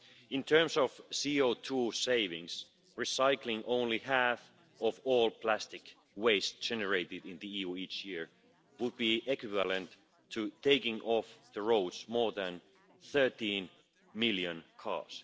In terms of CO2 savings, recycling only half of all plastic waste generated in the EU each year would be equivalent to taking off the roads more than 13 million cars.